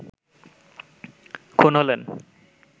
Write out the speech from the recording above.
খুন হলেন